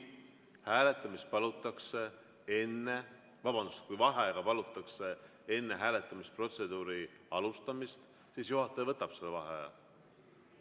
Ma veel kord ütlen, et kui vaheaega palutakse enne hääletamisprotseduuri alustamist, siis juhataja võtab selle vaheaja.